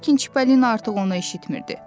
Lakin Çipalina artıq onu eşitmirdi.